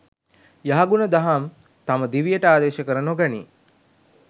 යහගුණ දහම් තම දිවියට ආදේශ කර නොගනීයි.